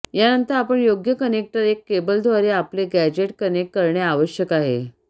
यानंतर आपण योग्य कनेक्टर एक केबल द्वारे आपले गॅझेट कनेक्ट करणे आवश्यक आहे